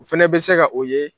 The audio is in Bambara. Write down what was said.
O fɛnɛ bɛ se ka o ye